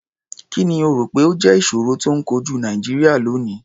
Kì ni o rò pé ó jẹ́ ìṣòro tó ń kojú Nàìjíríà lónìí?